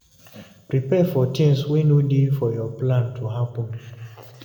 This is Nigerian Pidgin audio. Prepare for things wey no dey for your plan to happen